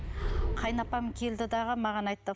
қайынапам келді дағы маған айтты